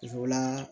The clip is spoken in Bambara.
Musola